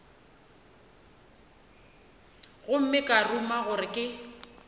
gomme ka ruma gore ke